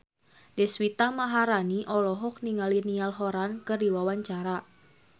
Deswita Maharani olohok ningali Niall Horran keur diwawancara